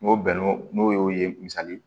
N'o bɛnn'o n'o y'o ye misali ye